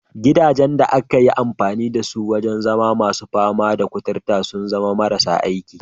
Gidajen da aka yi amfani da su wajen zama masu fama da kuturta sun zama marasa aiki.